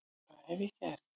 hvað hef ég gert?